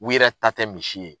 U yɛrɛ ta tɛ misi ye.